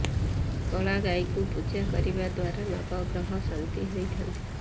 କଳା ଗାଈଙ୍କୁ ପୂଜା କରିବା ଦ୍ବାରା ନବଗ୍ରହ ଶାନ୍ତ ହୋଇଥାଆନ୍ତି